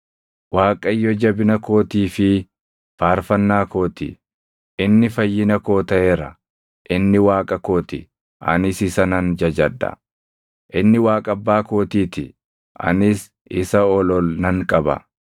“ Waaqayyo jabina kootii fi faarfannaa koo ti; inni fayyina koo taʼeera. Inni Waaqa koo ti; anis isa nan jajadha; inni Waaqa abbaa kootii ti; anis isa ol ol nan qaba.